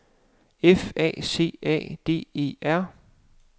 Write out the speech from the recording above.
F A C A D E R